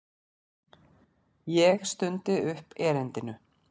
Ég stundi upp erindinu.